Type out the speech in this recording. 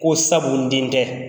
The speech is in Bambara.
Ko sabu den tɛ